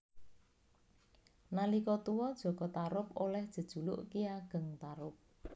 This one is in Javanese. Nalika tuwa Jaka Tarub Oléh jejuluk Ki Ageng Tarub